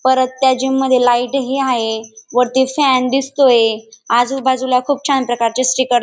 परत त्या जिम मध्ये लाईटही हाये वरती फॅन दिसतोय आजूबाजूला खूप छान प्रकारचे स्टीकर लाव --